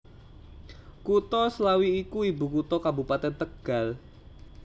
Kutha Slawi iku ibukutha Kabupatèn Tegal